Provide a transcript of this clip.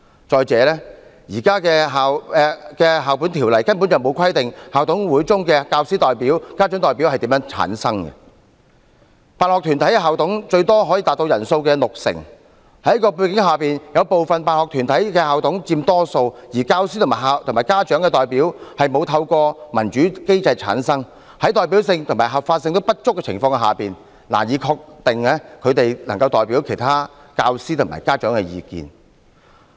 再者，現時《教育條例》根本沒有規定校董會中的教師代表、家長代表是如何產生，辦學團體校董最多可達總人數的六成，在這種背景下，有部分辦學團體校董佔多數，而教師和家長代表均沒有透過民主機制產生，在代表性和合法性不足的情況下，難以確定他們能代表其他教師和家長的意見。